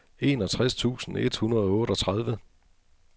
enogtres tusind et hundrede og otteogtredive